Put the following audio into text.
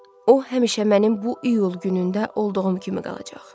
O həmişə mənim bu iyul günündə olduğum kimi qalacaq.